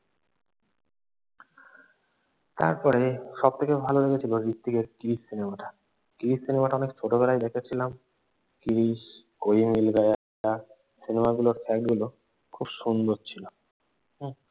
তারপরে সব থেকে ভালো লেগেছিল হৃত্বিকের ক্রিস সিনেমাটা। ক্রিস সিনেমাটা অনেক ছোটোবেলায় দেখেছিলাম ক্রিস, কোই মিল গায়া সিনেমাগুলোর fact গুলো খুব সুন্দর ছিল।